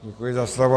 Děkuji za slovo.